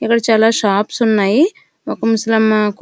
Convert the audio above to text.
ఇక్కడ చాలా షాప్స్ ఉన్నాయి ఒక ముసలమ్మ.